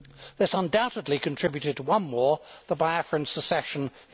This undoubtedly contributed to one war, the Biafran Secession in